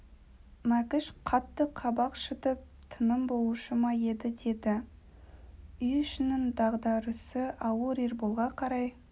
мәкіш қатты қабақ шытып тынымы болушы ма еді деді үй ішінің дағдарысы ауыр ерболға қарай